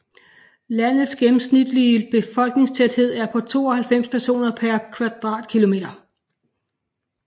Landets gennemsnitlige befolkningstæthed er på 92 personer per km²